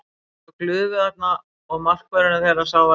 Ég sá glufu þarna og markvörðurinn þeirra sá varla boltann.